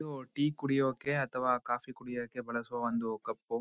ಇದು ಟೀ ಕುಡಿಯೋಕೆ ಅಥವಾ ಕಾಫಿ ಕುಡಿಯೋಕೆ ಬಳಸುವ ಒಂದು ಕಪ್ ಉ